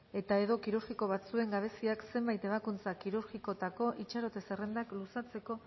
eta edo kirurgiko batzuen gabeziak zenbait ebakuntza kirurgikotako itxarote zerrendak luzatzeko